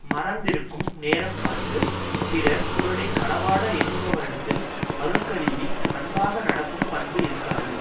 மறந்திருக்கும் நேரம் பார்த்து பிறர் பொருளை களவாட எண்ணுபவரிடத்தில் அருள் கருதி அன்பாக நடக்கும் பண்பு இருக்காது